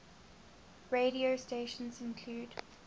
radio stations include